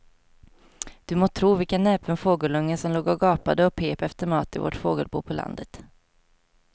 Du må tro vilken näpen fågelunge som låg och gapade och pep efter mat i vårt fågelbo på landet.